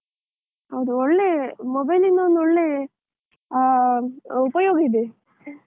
ಹೌದು, ಒಳ್ಳೆ mobile ಇಂದ ಒಂದು ಒಳ್ಳೆ, ಆ ಆ ಉಪಯೋಗ ಇದೆ.